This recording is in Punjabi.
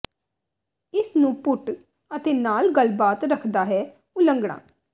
ਇਸ ਨੂੰ ਪੁੱਟ ਅਤੇ ਨਾਲ ਗੱਲਬਾਤ ਰੱਖਦਾ ਹੈ ਉਲੰਘਣਾ